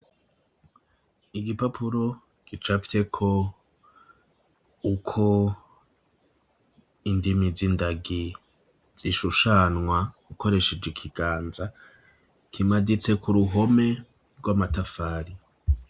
Igipapuro gicafyeko uko indimi z'indagi zishushanywa ukoresheje ikiganza, kimaditse ku ruhome rw'amatafari.